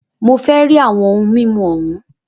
Mó fẹ rí àwọn ohun mímu òhún!